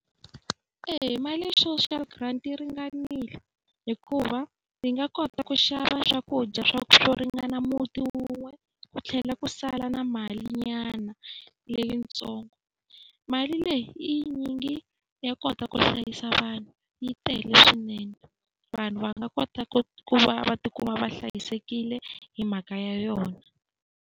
Eya, mali ya social grant yi ringanile hikuva ndzi nga kota ku xava swakudya swa swo ringana muti wun'we, ku tlhela ku sala na malinyana leyi ntsongo. Mali leyi I yi nyingi ya kota ku hlayisa vanhu, yi tele swinene. Vanhu va nga kota ku va va tikuma va hlayisekile hi mhaka ya yona.